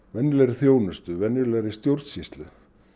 venjulegri þjónustu venjulegri stjórnsýslu